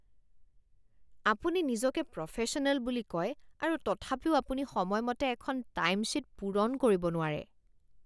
আপুনি নিজকে প্ৰফেশ্যনেল বুলি কয় আৰু তথাপিও আপুনি সময়মতে এখন টাইমশ্বীট পূৰণ কৰিব নোৱাৰে।